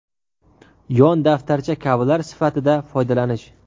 yon daftarcha kabilar sifatida foydalanish;.